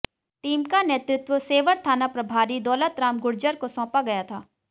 team का नेतृत्व सेवर थाना प्रभारी दौलतराम गुर्जर को सौंपा गया था